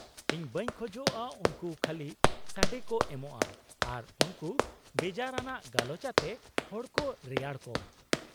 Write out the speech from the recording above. -ᱤᱧ ᱵᱟᱹᱧ ᱠᱷᱚᱡᱼᱟ ᱩᱱᱠᱩ ᱠᱷᱟᱞᱤ ᱥᱟᱰᱮ ᱠᱚ ᱮᱢᱼᱟ ᱟᱨ ᱩᱱᱠᱩ ᱵᱮᱡᱟᱨ ᱟᱱᱟᱜ ᱜᱟᱞᱚᱪ ᱟᱛᱮ ᱦᱚᱲ ᱠᱚ ᱨᱮᱭᱟᱲ ᱠᱚᱢ ᱾